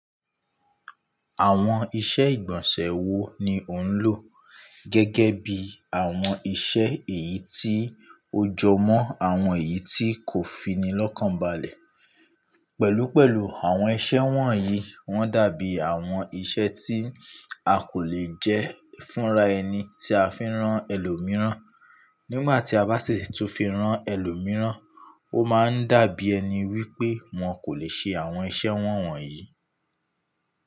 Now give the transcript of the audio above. Àwọn iṣẹ́ ìgbọ̀nsẹ̀ wo ni ò ń lò gẹ́gẹ́ bí àwọn iṣẹ́ èyí tí ó jọmọ́ àwọn èyí tí kò fi ni lọ́kànbalẹ̀? Pẹ̀lú pẹ̀lú, àwọn iṣẹ́ wọ̀nyí wọ́n dàbí àwọn iṣẹ́ tí a kò lè jẹ́ fúnra ẹni tí a fẹ́ rán ẹlòmíràn. Nígbà tí a bá sì tún fi rán ẹlòmíràn, ó máa ń dàbí ẹni wípé wọn kò lè ṣe àwọn iṣẹ́ wọ̀n wọ̀nyí.